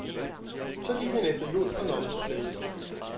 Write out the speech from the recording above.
Så gik han efter jod og lommetørklæde.